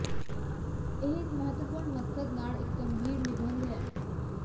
ਇਹ ਇੱਕ ਮਹੱਤਵਪੂਰਨ ਮਕਸਦ ਨਾਲ ਇੱਕ ਗੰਭੀਰ ਨਿਬੰਧ ਹੈ